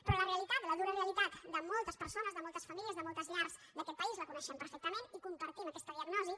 però la realitat la dura realitat de moltes persones de moltes famílies de moltes llars d’aquest país la coneixem perfectament i compartim aquesta diagnosi